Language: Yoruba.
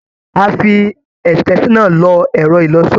A fi extension náà lo ẹ̀rọ-ìlọṣọ.